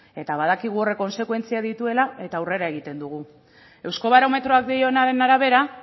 eta badakigu horrek kontsekuentziak dituela eta aurrera egiten dugu eusko barometroak dionaren arabera